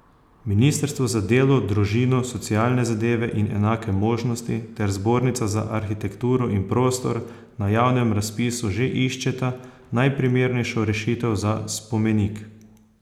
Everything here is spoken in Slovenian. Ministrstvo za delo, družino, socialne zadeve in enake možnosti ter Zbornica za arhitekturo in prostor na javnem razpisu že iščeta najprimernejšo rešitev za spomenik.